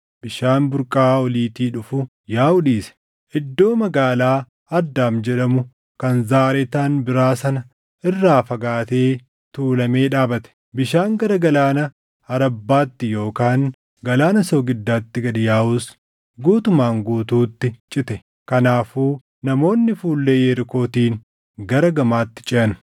bishaan burqaa oliitii dhufu yaaʼuu dhiise. Iddoo magaalaa Addaam jedhamu kan Zaaretaan biraa sana irraa fagaatee tuulamee dhaabate; bishaan gara Galaana Arabbaatti yookaan Galaana soogiddaatti gad yaaʼus guutumaan guutuutti cite. Kanaafuu namoonni fuullee Yerikootiin gara gamaatti ceʼan.